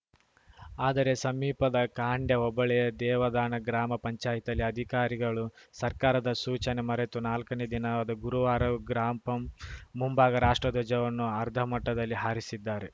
ಆದರೆ ಸಮೀಪದ ಖಾಂಡ್ಯ ಹೋಬಳಿಯ ದೇವದಾನ ಗ್ರಾಮ ಪಂಚಾಯಿತಿಯಲ್ಲಿ ಅಧಿಕಾರಿಗಳು ಸರ್ಕಾರದ ಸೂಚನೆ ಮರೆತು ನಾಲ್ಕನೇ ದಿನವಾದ ಗುರುವಾರವೂ ಗ್ರಾಪಂ ಮುಂಭಾಗ ರಾಷ್ಟ್ರಧ್ವಜವನ್ನು ಅರ್ಧಮಟ್ಟದಲ್ಲಿ ಹಾರಿಸಿದ್ದಾರೆ